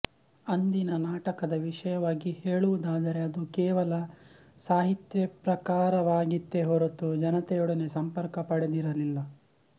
ಅಂದಿನ ನಾಟಕದ ವಿಷಯವಾಗಿ ಹೇಳುವುದಾದರೆ ಅದು ಕೇವಲ ಸಾಹಿತ್ಯಪ್ರಕಾರವಾಗಿತ್ತೇ ಹೊರತು ಜನತೆಯೊಡನೆ ಸಂಪರ್ಕ ಪಡೆದಿರಲಿಲ್ಲ